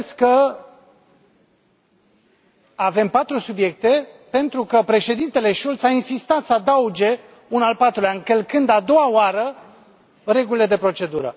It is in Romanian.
înțeles că avem patru subiecte pentru că Președintele Schulz a insistat să adauge un al patrulea, încălcând a doua oară Regulamentul de procedură.